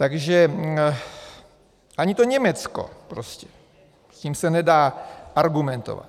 Takže ani to Německo prostě, s tím se nedá argumentovat.